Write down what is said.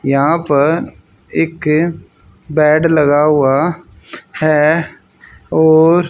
यहां पर एक बेड लगा हुआ है और--